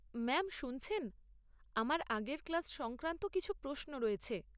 Ma'am শুনছেন, আমার আগের ক্লাস সংক্রান্ত কিছু প্রশ্ন রয়েছে।